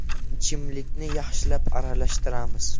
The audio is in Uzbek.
Ichimlikni yaxshilab aralashtiramiz.